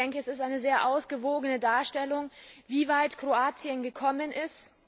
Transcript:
Es ist eine sehr ausgewogene Darstellung, wie weit Kroatien gekommen ist.